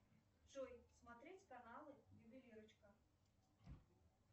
джой смотреть каналы ювелирочка